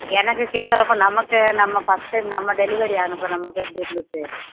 எனக்கு கேட்கறப்ப நமக்கு நம்ம first time நம்ம delivery அனுபவம் நமக்கு எப்படி இருந்துச்சு